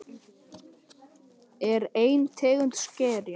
Boði: er ein tegund skerja.